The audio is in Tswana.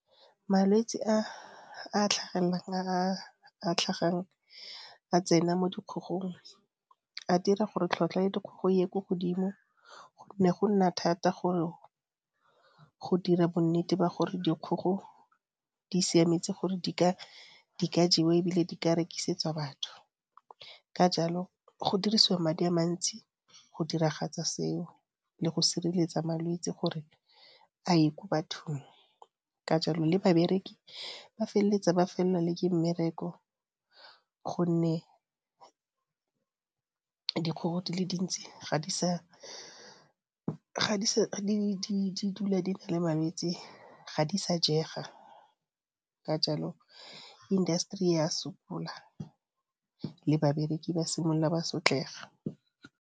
Malwetse a a tlhagelelang, a a tlhagang a tsena mo dikgong a dira gore tlhotlhwa ya dikgogo e ye ko godimo, gonne go nna thata gore go dira bonnete ba gore dikgogo di siametse gore di ka jewa e bile di ka rekisetsa batho. Ka jalo go dirisiwa madi a mantsi go diragatsa seo le go sireletsa malwetse gore a ye kwa bathong. Ka jalo le babereki ba feleletsa ba felelwa le ke mmereko gonne dikgogo di le dintsi ga di sa di dula di na le malwetse, ga di sa jega ka jalo industry e a sokola le babereki ba simolola ba sotlega.